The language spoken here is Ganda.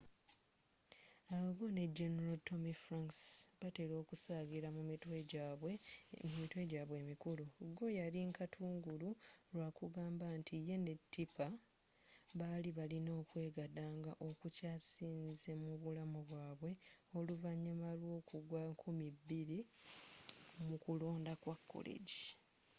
al gore ne general tommy franks batela okusagira mu mitwe jaabwe emikulu gore's yali nkatungulu lwekagamba nti ye ne tipper bali balina okwegadandga okukyasinze mu bulamubwaabwe oluvanyuma lw’okugwa 2000 mukulonda kwa koleggi